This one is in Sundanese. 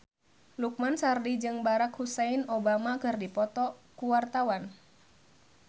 Lukman Sardi jeung Barack Hussein Obama keur dipoto ku wartawan